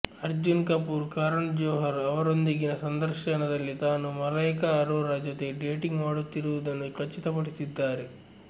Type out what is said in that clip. ಅರ್ಜುನ್ ಕಪೂರ್ ಕರಣ್ ಜೋಹರ್ ಅವರೊಂದಿಗಿನ ಸಂದರ್ಶನದಲ್ಲಿ ತಾನು ಮಲೈಕಾ ಅರೋರಾ ಜೊತೆ ಡೇಟಿಂಗ್ ಮಾಡುತ್ತಿರುವುದನ್ನು ಖಚಿತಪಡಿಸಿದ್ದಾರೆ